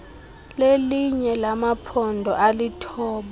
lelinye lamaphondo alithoba